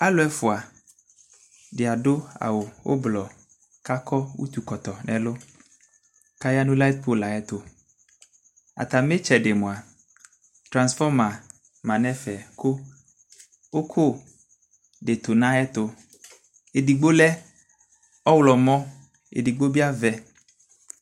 Alʋ ɛfʋadi adʋ awʋ ʋblɔ kʋ akɔ ʋtʋkɔtɔ nʋ ɛlʋ kʋ ayanʋ lit pol ayʋ ɛtʋ atami itsɛdi mʋa transforma manʋ ɛfɛ kʋ ʋkʋdi tʋ nʋ ayʋ ɛtʋ edigbo lɛ ɔwlɔmɔ edigbo bi avɛ